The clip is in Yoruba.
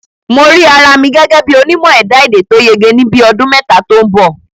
Mo rí ara mi gẹ́gẹ́ bí onímọ̀ ẹ̀dá-èdè tó yege ní bíi ọdún mẹ́ta tó ń bọ̀